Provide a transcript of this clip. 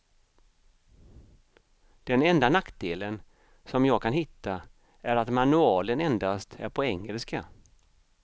Den enda nackdelen som jag kan hitta är att manualen endast är på engelska.